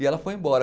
E ela foi embora.